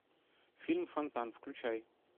фильм фонтан включай